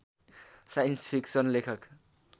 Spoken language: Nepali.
साइन्स फिक्सन लेखक